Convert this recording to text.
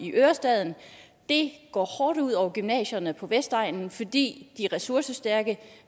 ørestaden og det går hårdt ud over gymnasierne på vestegnen fordi de ressourcestærke